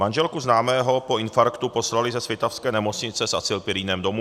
Manželku známého po infarktu poslali ze svitavské nemocnice s acylpyrinem domů.